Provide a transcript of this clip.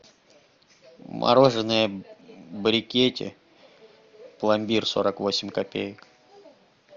мороженое в брикете пломбир сорок восемь копеек